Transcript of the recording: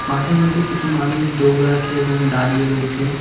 মাঠে মধ্যে কিছু মানুষ দৌড়াচ্ছে এবং দাঁড়িয়ে রয়েছে।